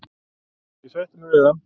Ég sætti mig við það.